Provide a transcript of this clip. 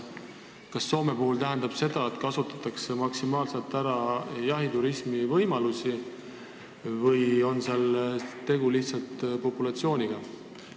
Kas see tähendab, et Soomes kasutatakse maksimaalselt ära jahiturismi võimalusi, või on tegu lihtsalt populatsioonide erinevusega?